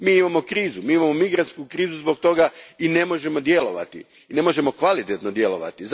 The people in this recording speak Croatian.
Mi imamo krizu, mi imamo migrantsku krizu zbog toga i ne možemo djelovati, ne možemo kvalitetno djelovati.